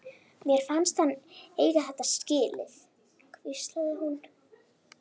Mér fannst hann eiga þetta skilið- hvíslaði hún.